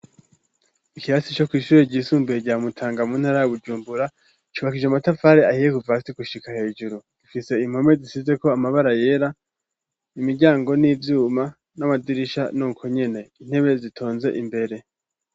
Ikirasi co kw'ishure ryisumbuye rya Mutanga mu ntara ya Bujumbura, cubakishije amatafari ahiye kuva hasi gushika hejuru, ifise impome zisizeko amabara yera, imiryango n'ivyuma, n'amadirisha nuko nyene, intebe zitonze imbere.